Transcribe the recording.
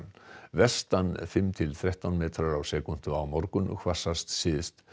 vestan fimm til þrettán metrar á sekúndu á morgun hvassast syðst